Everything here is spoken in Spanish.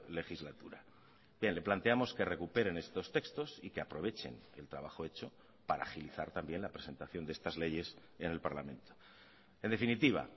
legislatura bien le planteamos que recuperen estos textos y que aprovechen el trabajo hecho para agilizar también la presentación de estas leyes en el parlamento en definitiva